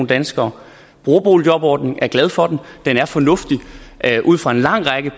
danskere bruger boligjobordningen og er glade for den den er fornuftig ud fra en lang række